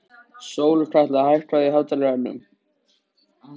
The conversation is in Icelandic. Sólkatla, hækkaðu í hátalaranum.